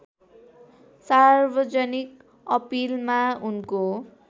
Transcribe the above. सार्वजनिक अपिलमा उनको